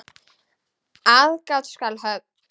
Aðgát skal höfð.